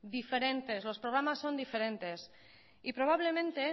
diferentes los programas son diferentes y probablemente